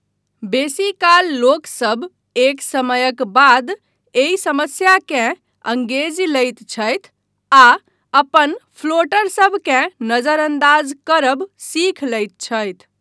बेसीकाल लोकसभ एक समयक बाद एहि समस्याकेँ अंगेजि लैत छथि आ अपन फ्लोटरसभकेँ नजरअन्दाज करब सीख लैत छथि।